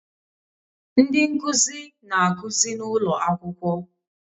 Ndị nkuzi na-akụzi n'ụlọ akwụkwọ